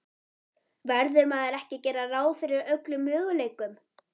Verður maður ekki að gera ráð fyrir öllum möguleikum?